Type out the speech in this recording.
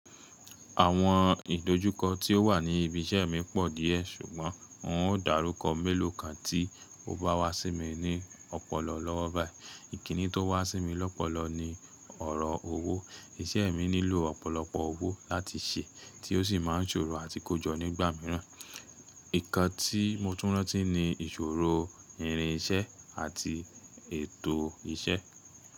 Àwọn ìdojúkọ tí ó wà ní ibi iṣẹ́ mi pọ̀ díẹ̀, ṣùgbọ́n n ó dàrúkọ mélòó kan tí ó bá wá sí mi ní ọpọlọ lọ́wọ́ báyìí. Ìkíni tó wá sí mi lọ́pọlọ ni ọ̀rọ̀ owó. Iṣẹ́ mi nílò ọ̀pọ̀lọpọ̀ owó láti ṣẹ, tí ó sì máa ń ṣòro àti kójọ nígbà míràn. Nǹkan tí mo tún rántí ni ìṣòro irin iṣẹ́ àti ètò iṣẹ́.